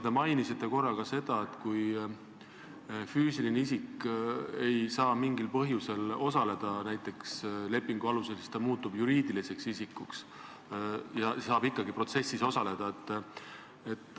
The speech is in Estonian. Te mainisite korra ka seda, et kui füüsiline isik ei saa mingil põhjusel töötada näiteks lepingu alusel, siis ta muutub juriidiliseks isikuks ja saab ikkagi protsessis osaleda.